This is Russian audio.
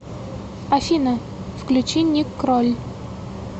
афина включи ник кроль